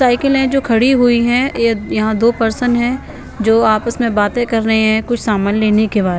cycle है जो खड़ी हुई है ये यहाँ दो पर्सन हैं जो आपस में बातें कर रहे हैं कुछ सामान लेने के बाद--